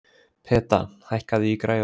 Peta, hækkaðu í græjunum.